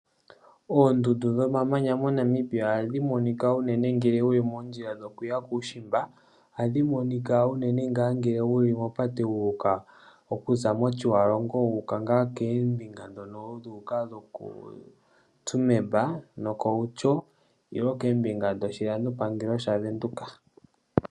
Oondundu dhomamanya moNamibia ohadhi monika unene ngele wuli moondjila dhoku ya kuushimba. Ohadhi monika unene ngele wuli mopate wu uka mOtjiwarongo, wu uka ngaa koombinga ndhono dhu uka ngaa lwokoo Tsumeb nokOutjo nenge koombinga dhoshilando pangelo shaVenduka.